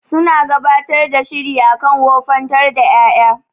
Suna gabatar da shiri akan wofantar da ƴaƴa.